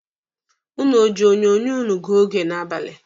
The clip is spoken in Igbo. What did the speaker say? Ụnụ o ji onyonyo ụnụ gụọ oge n'abalị.